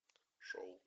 шоу